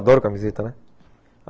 Adoro camiseta, né?